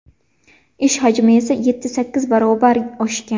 Ish hajmi esa yetti-sakkiz barobar oshgan.